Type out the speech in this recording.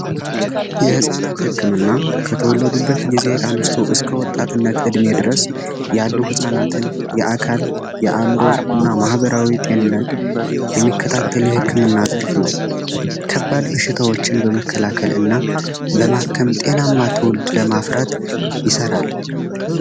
የህፃናት ህክምና ከተወለዱበት ጊዜ አንስቶ እስከ ወጣትነት እድሜ ድረስ ያሉ ህጻናትን የአካል የአዕምሮ እና ማህበራዊ ጤንነት የሚከታተል ህክምና ዘርፍ ነው። ከባድ በሽቶችን በመከላከልና ለማከም ጤናማ ትወልድ ለማፍራት ይሰራል።